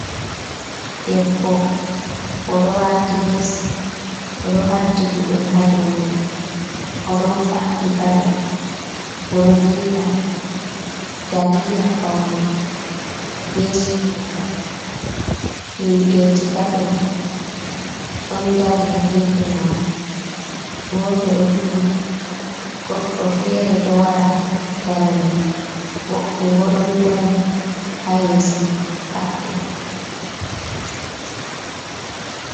Debbo o ɗo wati ves, o ɗo hadi gudel ha dou mai, o ɗon faɗɗi paɗe, o ɗo dilla dalila paune, be surungal, himɓeji tato ɗon dari ha gefe mako, goto ɗo turi, goɗɗo fere ɗo wara her mei, woɓɓe bo ɗon dari ha yeso mako hatto.